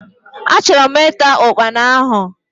Achorom ita Ụkpana ahu.